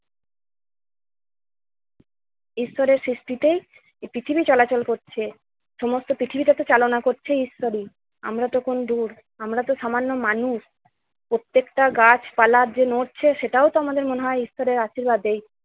ঈশ্বরের সৃষ্টিতে এই পৃথিবী চলাচল করছে। সমস্ত পৃথিবীটাকে চালনা করছে ঈশ্বরই। আমরা তখন দূর~ আমরা তো সামান্য মানুষ। প্রত্যেকটা গাছপালা যে নড়ছে সেটাও তো আমাদের মনে হয় ঈশ্বরের আশীর্বাদেই।